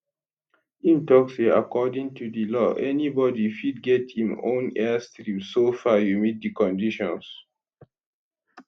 im tok say according to di law anybodi fit get im own airstrip soo far you meet di conditions